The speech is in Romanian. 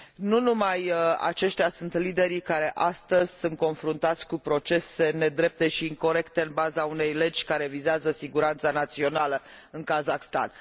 Nu numai aceștia sunt liderii care astăzi sunt confruntați cu procese nedrepte și incorecte, în baza unei legi care vizează siguranța națională în Kazahstan.